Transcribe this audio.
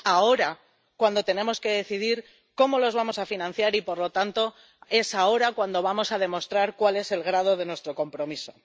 Y es ahora cuando tenemos que decidir cómo los vamos a financiar y, por lo tanto, es ahora cuando vamos a demostrar cuál es el grado de nuestro compromiso.